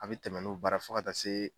A bɛ tɛmɛ ni o baara ye fo ka taa se